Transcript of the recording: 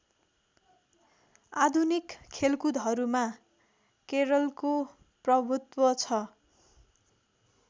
आधुनिक खेलकुदहरूमा केरलको प्रभु्त्व छ